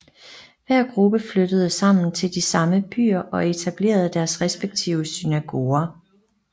Hver gruppe flyttede sammen til de samme byer og etablerede deres respektive synagoger